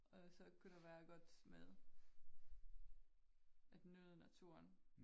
Og så kunne det være godt med at nyde naturen